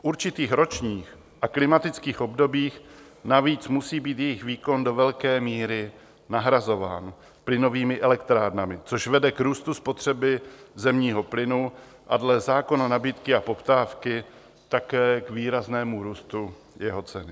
V určitých ročních a klimatických obdobích navíc musí být jejich výkon do velké míry nahrazován plynovými elektrárnami, což vede k růstu spotřeby zemního plynu a dle zákona nabídky a poptávky také k výraznému růstu jeho ceny.